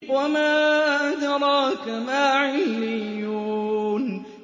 وَمَا أَدْرَاكَ مَا عِلِّيُّونَ